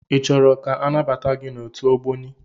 I chọrọ ka anabata gị n'otu Ogboni?